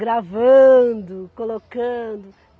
gravando, colocando.